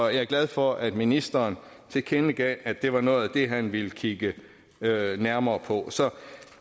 jeg er glad for at ministeren tilkendegav at det er noget af det han vil kigge nærmere på så